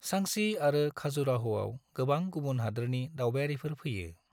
सांची आरो खाजुराह'आव गोबां गुबुन हादोरनि दावबायारिफोर फैयो।